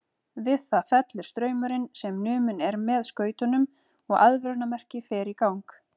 Við það fellur straumurinn sem numinn er með skautunum og aðvörunarmerki fer í gang.